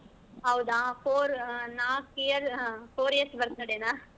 ಹೌದಾ four ನಾಕ್ year four years birthday ನ.